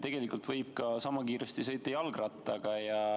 Tegelikult võib sama kiiresti sõita ka jalgrattaga.